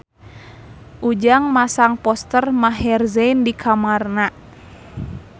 Ujang masang poster Maher Zein di kamarna